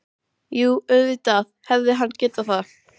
Jú, auðvitað hefði hann getað það.